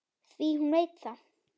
Því hún veit það.